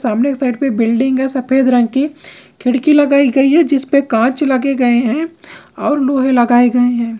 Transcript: सामने के साइड पे बिल्डिंग हैं सफेद रंग की खिड़की लगाई गई है जिसपे कांच लगे गए हैं और लोहे लगाए गए हैं।